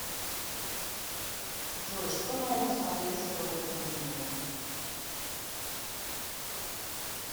джой что нового посмотреть с робертом дениро